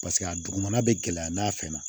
Paseke a dugumana bɛ gɛlɛya n'a fɛn na